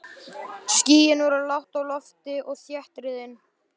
Skýin voru lágt á lofti og þéttriðin.